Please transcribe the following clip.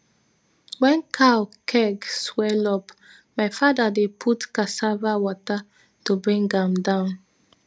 wen cow keg swell up my fada dey put cassava water to bring am down